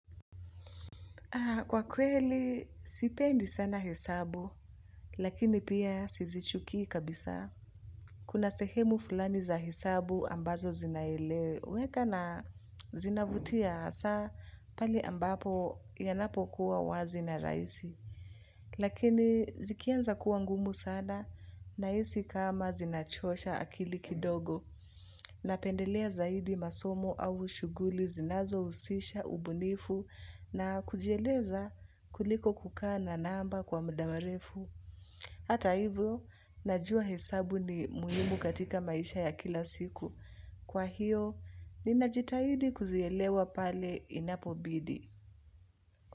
Kwa kweli, sipendi sana hesabu, lakini pia sizichukii kabisa. Kuna sehemu fulani za hesabu ambazo zinaeleweka na zinavutia hasa pale ambapo yanapokuwa wazi na rahisi. Lakini, zikianza kuwa ngumu sana, nahisi kama zinachosha akili kidogo, napendelea zaidi masomo au shughuli zinazohusisha ubunifu na kujieleza kuliko kukana namba kwa muda mrefu. Hata hivyo, najua hesabu ni muhimu katika maisha ya kila siku. Kwa hiyo, ninajitahidi kuzielewa pale inapobidi.